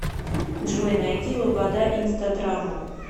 джой найди лобода инстадрама